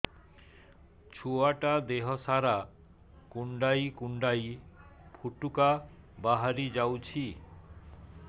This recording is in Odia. ଛୁଆ ଟା ଦେହ ସାରା କୁଣ୍ଡାଇ କୁଣ୍ଡାଇ ପୁଟୁକା ବାହାରି ଯାଉଛି